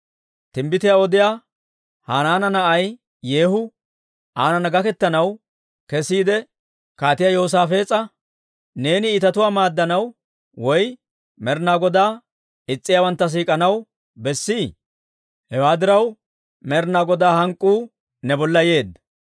Timbbitiyaa odiyaa Hanaana na'ay Yeehu aanana gaketanaw kesiide, Kaatiyaa Yoosaafees'a, «Neeni iitatuwaa maaddanaw woy Med'inaa Godaa is's'iyaawantta siik'anaw bessii? Hewaa diraw, Med'inaa Godaa hank'k'uu ne bolla yeedda.